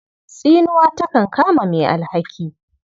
Tsinuwa takan kama mai alhaki.